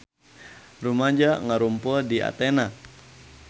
Rumaja ngarumpul di Athena